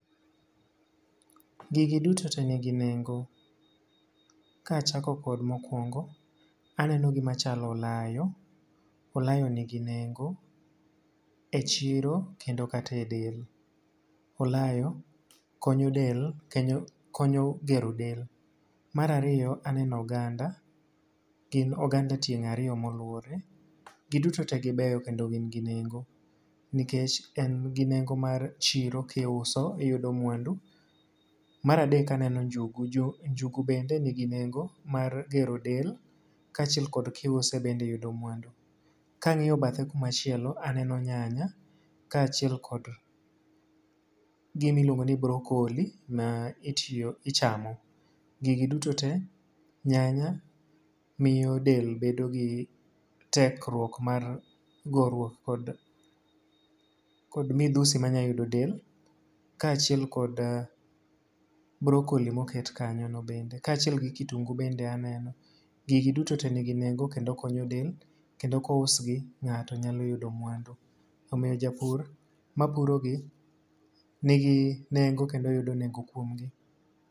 Gigi duto te nigi nengo. Ka achako kod mokwongo. Aneno gima chalo olayo. Olayo nigi nengo e chiro kendo kata e del. Olayo konyo del, konyo gero del. Mar ariyo, aneno oganda. Gin oganda tieng' ariyo ma oluwore. Gi duto te gibeyo kendo gin gi nengo. Nikech en gi nengo mar chiro kiuso iyudo mwandu. Mar adek aneno njugu, njugu bende nigi nengo mar gero del, kaachiel kod kiuse bende iyudo mwandu. Kangíyo bathe kuma chielo aneno nyanya, kaachiel kod gima iluongo ni brocolli, ma itiyo, ichamo, gigi duto te, nyanya miyo del bedo gi tekruok mar gorruok kod kod midhusi manyalo yudo del, kaachiel kod brocolli moket kanyo no bende, kaachiel gi kitungu bende aneno. Gigi duto te nigi nengo kendo konyo del. Kendo kous gi ngáto nyalo yudo mwandu. Omiyo japur mapuro gi nigi nengo, kendo yudo nengo kuomgi.